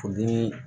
Furudimi